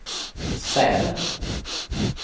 Säve